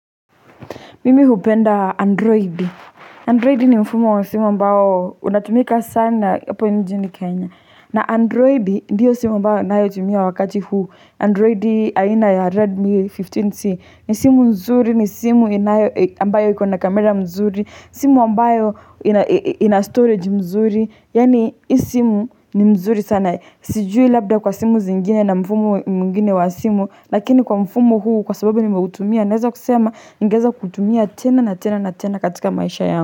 Mimi hupenda Android. Android ni mfumo wa simu ambao unatumika sana. Hapo nchini Kenya. Na Androidi ndiyo simu ambayo anayotumia wakati huu. Androidi aina ya Redmi 15C. Ni simu mzuri, ni simu inayo, ambayo iko na kamera mzuri. Simu ambayo ina storage mzuri. Yaani, hii simu ni mzuri sana. Sijui labda kwa simu zingine na mfumo mwingine wa simu. Lakini kwa mfumo huu, kwa sababu nimeutumia. Naweza kusema ningeweza kuitumia tena na tena na tena katika maisha yangu.